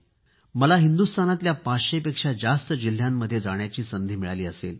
मला हिंदुस्तानातल्या पाचशेपेक्षा जास्त जिल्ह्यांमधे जाण्याची संधी मिळाली असेल